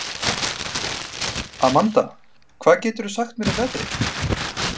Amanda, hvað geturðu sagt mér um veðrið?